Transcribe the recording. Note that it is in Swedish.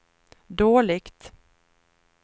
dåligt